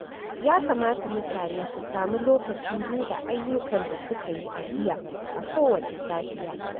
Ya kamata mutane su sami lokacin duba ayyukan da suka yi a jiya a kowace safiya.